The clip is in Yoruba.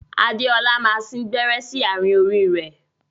Adéọlá máa sìn gbẹ́rẹ́ sí àárín orí ẹ.